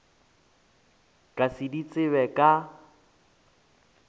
ka se di tsebe ka